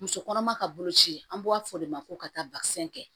Muso kɔnɔma ka boloci an b'a fɔ o de ma ko ka taa kɛ